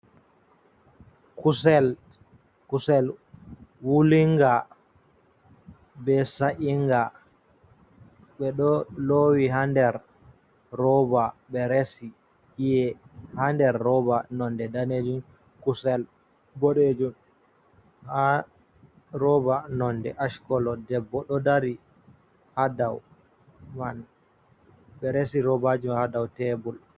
Kusel wulinga be sa’inga ɓe ɗo lowi ha nder roba ɓe resi I'e ha roba nonde danejum kusel boɗejum ha roba nonde ashcolo debbo ɗo dari ha dow mai resi robaji mai ha dow tebul.